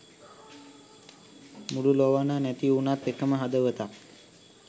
මුළු ළොවන නැති උනත් එකම හදවතක්